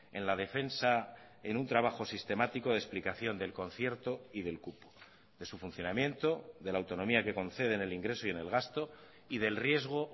en la defensa en un trabajo sistemático de explicación del concierto y del cupo de su funcionamiento de la autonomía que concede en el ingreso y en el gasto y del riesgo